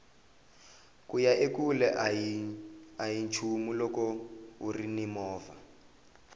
kuya ekule ahi nchumu loko urini movha